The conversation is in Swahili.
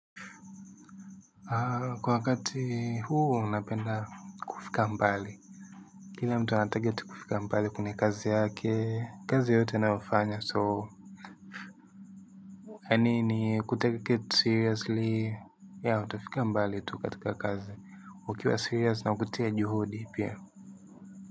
Kwa wakati huu napenda kufika mbali. Kila mtu anataket kufika mbali kwenyw kazi yake kazi yote ninayofanya so yanini kutake kitu seriously ya utafika mbali tu katika kazi ukiwa serious na ukutia juhudi pia.